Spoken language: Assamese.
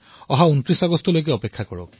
২৯ আগষ্টলৈ অপেক্ষা কৰক